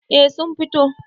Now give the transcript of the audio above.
eh sun fito